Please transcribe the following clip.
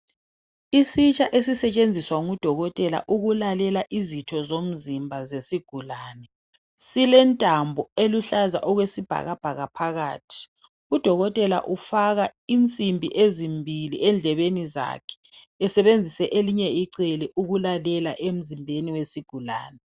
Isitsha esisetshenziswa ngudokotela ukulalela izitho zomzimba zesigulane silentambo eluhlaza okwe sibhakabhaka phakathi. Udokotela ufaka insimbi ezimbili endlebeni zakhe esebenzisa elinye icele ukulalela emzimbeni wesigulane